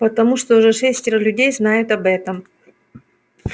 потому что уже шестеро людей знают об этом